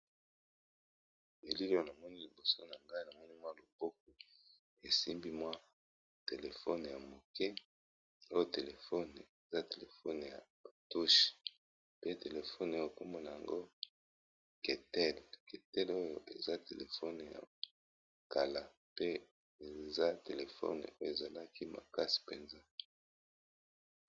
Elili oyo na moni liboso na ngai na moni mwa loboko esimbi mwa telefone ya moke, oyo telefone eza telefone ya ba touches pe telefone oyo kombo n"ango ketel, ketel oyo eza telefone ya kala pe eza telefone oyo e zalaki makasi penza .